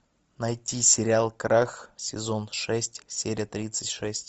найти сериал крах сезон шесть серия тридцать шесть